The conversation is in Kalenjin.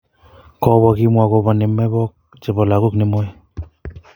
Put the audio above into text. Kobo kimwa kobo ne mebok chebo lagok nemoi.